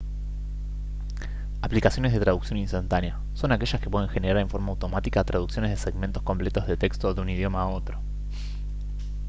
aplicaciones de traducción instantáneas son aquellas que pueden generar en forma automática traducciones de segmentos completos de texto de un idioma a otro